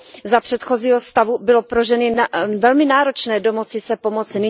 Za předchozího stavu bylo pro ženy velmi náročné domoci se pomoci.